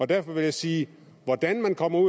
derfor vil jeg sige hvordan kommer